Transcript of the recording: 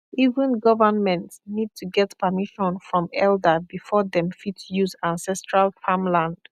even government need to get permission from elder before dem fit use ancestral farmland